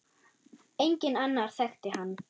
Enginn annar þekkti hann.